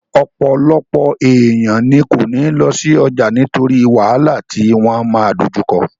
Ọ̀pọ̀lọpọ̀ èèyàn ní kò ní lọ sí ọjà nítorí wàhálà tí wọ́n máa dojú kọ